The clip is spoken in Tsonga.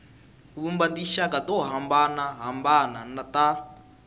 vumba tinxaka to hambanahambana ta